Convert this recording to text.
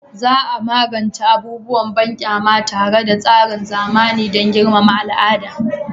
Za a magance abubuwan banƙyama tare da tsarin zamani dan girmama al'ada